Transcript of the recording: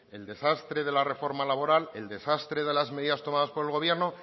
el desastre de la reforma laboral el desastre de las medidas tomadas por el gobierno